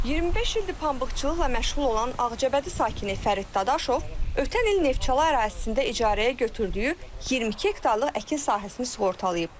25 ildir pambıqçılıqla məşğul olan Ağcabədi sakini Fərid Dadaşov ötən il Neftçala ərazisində icarəyə götürdüyü 22 hektarlıq əkin sahəsini sığortalayıb.